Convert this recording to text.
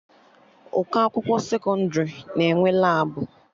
Ụkọ akwụkwọ sekọndrị na-enwe Labụ